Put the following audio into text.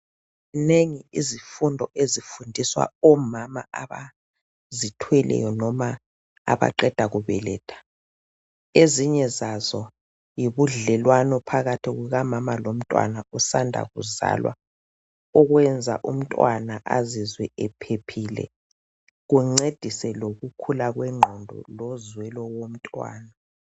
Zinengi izifundo ezifundiswa omama abazithweleyo noma abaqeda kubeletha ezinye zazo yibudlelwano phakathi kuka mama lomntwana osanda kuzalwa okwenza umntwana azizwe ephephile kungcedise lokukhula kwenqondo lozwelo wontwana.